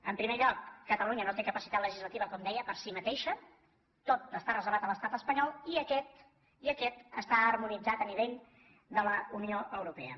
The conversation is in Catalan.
en primer lloc catalunya no té capacitat legislativa com deia per si mateixa tot està reservat a l’estat espanyol i aquest està harmonitzat a nivell de la unió europea